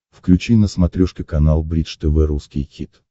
включи на смотрешке канал бридж тв русский хит